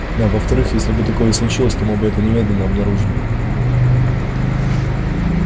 а во вторых если бы такое и случилось то мы бы это немедленно обнаружили